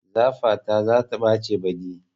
Safata za ta ɓace baɗi